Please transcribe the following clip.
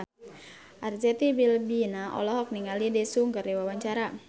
Arzetti Bilbina olohok ningali Daesung keur diwawancara